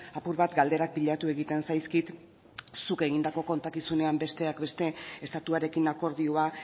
apur bat galderak pilatu egiten zaizkit zuk egindako kontakizunean besteak beste estatuarekin akordioa